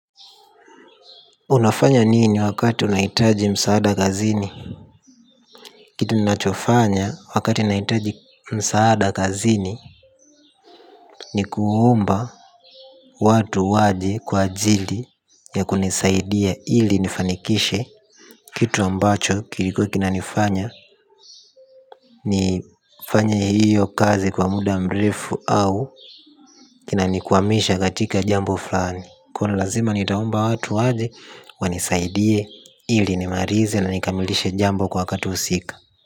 Unafanya nini wakati unahitaji msaada kazini? Kitu ninachofanya wakati ninahitaji msaada kazini ni kuomba watu waje kwa ajili ya kunisaidia ili nifanikishe kitu ambacho kilikuwa kinanifanya nifanye hiyo kazi kwa muda mrefu au kinanikwamisha katika jambo fulani. Kuna lazima nitaomba watu waje wanisaidie ili nimalize na nikamilishe jambo kwa wakati husika.